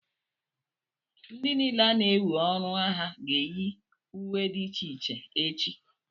ndị niile ana-ewe ọrụ agha ga-eyi uwe dị iche iche echi